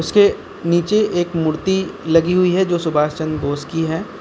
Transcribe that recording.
इसके नीचे एक मूर्ति लगी हुई है जो सुभाष चंद्र बोस की है।